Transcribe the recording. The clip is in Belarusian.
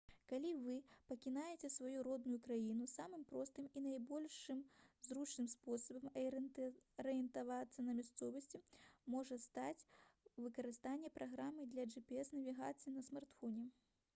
калі вы пакінеце сваю родную краіну самым простым і найбольш зручным спосабам арыентавацца на мясцовасці можа стаць выкарыстанне праграм для gps-навігацыі на смартфоне